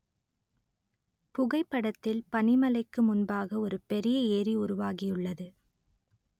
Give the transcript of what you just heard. புகைப்படத்தில் பனிமலைக்கு முன்பாக ஒரு பெரிய ஏரி உருவாகியுள்ளது